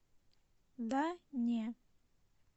да не